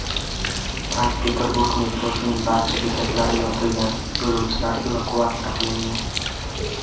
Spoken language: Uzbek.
Sankt-Peterburg metrosining barcha bekatlari yopilgan, yo‘lovchilar evakuatsiya qilingan.